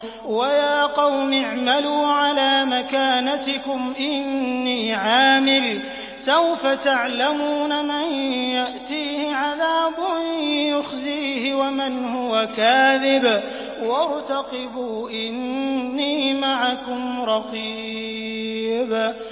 وَيَا قَوْمِ اعْمَلُوا عَلَىٰ مَكَانَتِكُمْ إِنِّي عَامِلٌ ۖ سَوْفَ تَعْلَمُونَ مَن يَأْتِيهِ عَذَابٌ يُخْزِيهِ وَمَنْ هُوَ كَاذِبٌ ۖ وَارْتَقِبُوا إِنِّي مَعَكُمْ رَقِيبٌ